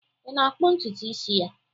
Ị na-akpụ ntutu isi ya?